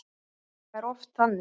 Það er oft þannig.